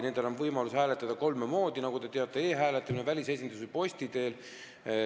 Ja neil on võimalik hääletada kolme moodi, nagu te teate: e-hääletamise või posti teel või välisesinduses.